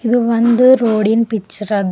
ಇದು ಒಂದು ರೊಡಿನ್ ಪಿಚ್ಚರ್ ಅದ.